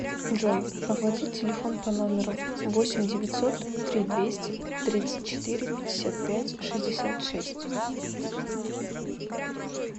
джой оплатить телефон по номеру восемь девятьсот три двести тридцать четыре пятьдесят пять шестьдесят шесть